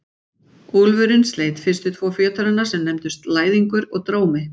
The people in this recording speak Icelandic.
Úlfurinn sleit fyrstu tvo fjötrana sem nefndust Læðingur og Drómi.